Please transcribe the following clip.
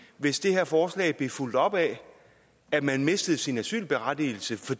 hvis det her forslag blev fulgt op af at man mistede sin asylberettigelse for